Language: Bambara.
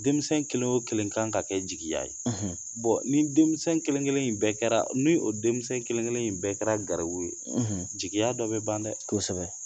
Denmisɛnnin kelen o kelen kan ka kɛ jigiya ye ni denmisɛn kelen-kelen in bɛɛ kɛra ni o denmisɛn kelen-kelen in bɛɛ kɛra garibu ye, jigiya dɔ bɛ ban dɛ, kosɛbɛ